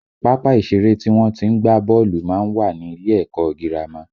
Pápá ìṣeré tí wọ́n tí ń gbá bọ́ọ̀lù má ń wà ní ilé ẹ̀kọ́ ọ girama